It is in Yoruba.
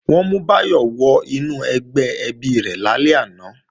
Wọ́n mú Báyọ̀ wọ inú ẹgbẹ́ ẹbí rẹ̀ lálẹ́ àná